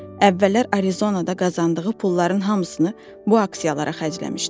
Əvvəllər Arizonada qazandığı pulların hamısını bu aksiyalara xərcləmişdi.